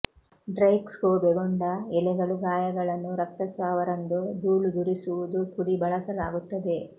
dry ಕ್ಷೋಬೆಗೊಂಡ ಎಲೆಗಳು ಗಾಯಗಳನ್ನು ರಕ್ತಸ್ರಾವ ರಂದು ಧೂಳುದುರಿಸುವುದು ಪುಡಿ ಬಳಸಲಾಗುತ್ತದೆ